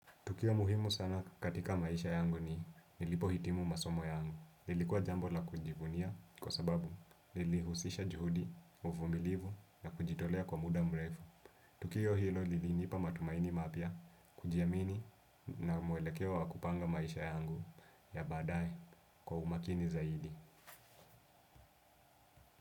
Tukio muhimu sana katika maisha yangu ni nilipo hitimu masomo yangu. Lilikuwa jambo la kujivunia kwa sababu nilihusisha juhudi, uvumilivu na kujitolea kwa muda mrefu. Tukio hilo liliniipa matumaini mapya, kujiamini na mwelekeo wa kupanga maisha yangu ya baadae kwa umakini zaidi.